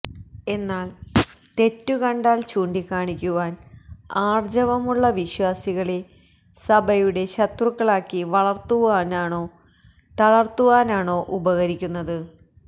എന്നാല് തെറ്റു കണ്ടാല് ചൂണ്ടികാണിക്കുവാന് ആര്ജ്ജവമുള്ള വിശ്വാസികളെ സഭയുടെ ശത്രുക്കളാക്കി വളര്ത്തുവാനാണോ തളര്ത്തുവാനാണോ ഉപകരിക്കുന്നത്